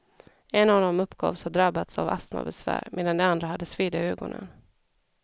En av dem uppgavs ha drabbats av astmabesvär, medan de andra hade sveda i ögonen.